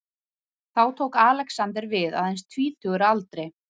Þá tók Alexander við, aðeins tvítugur að aldri.